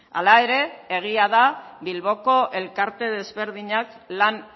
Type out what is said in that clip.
hala ere egia da bilboko elkarte desberdinak lan